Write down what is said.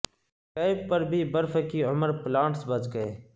cap پر بھی برف کی عمر پلانٹس بچ گئے